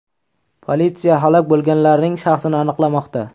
Politsiya halok bo‘lganlarning shaxsini aniqlamoqda.